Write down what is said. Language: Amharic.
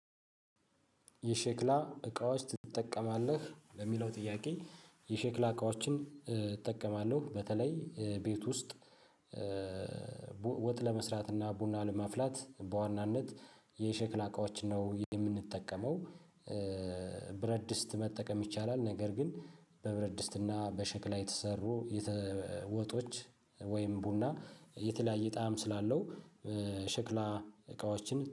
"የሸክላ እቃዎች ትጠቀማለህ ለሚለው?" ጥያቄ የሸክላ እቃዎችን እጠቀማለሁ። በተለይ ቤት ውስጥ ወጥ ለመስራት እና ቡና ለማፍላት በዋናነት የሸክላ እቃዎች ነው የምንጠቀመው። ብረት ድስጥ መጠቀም ይቻላል፤ ነገር ግን በብረት ድስትና በሸክላ የተሰሩ የተ ወጦች ወይም ቡና የተለያየ ጣዕም ስላለው ሸክላ እቃዎችን